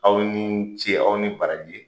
Aw ni ce, aw ni barajɛ.